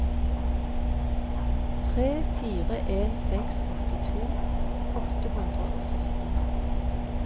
tre fire en seks åttito åtte hundre og sytten